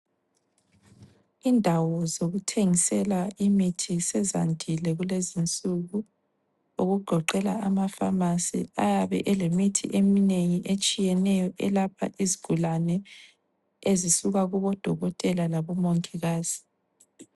Indawo zokuthengisela imithi sezandile kulezinsuku, okugoqela amapharmacy ayabe elemithi eminengi etshiyeneyo elapha izigulane, ezisuka kubodokotela labomongikazi.